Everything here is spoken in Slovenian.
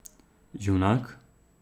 Junak?